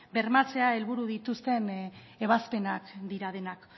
bermatzea helburu dituzten ebazpenak dira denak